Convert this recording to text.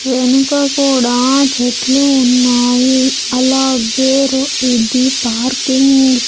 వెనుక కూడా చెట్లు ఉన్నాయి అలాగే ఇది పార్కింగ్ .